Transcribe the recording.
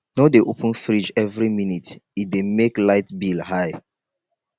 no dey open fridge every minute e dey make light bill high